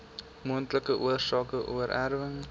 moontlike oorsake oorerwing